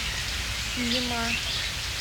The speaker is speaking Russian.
сима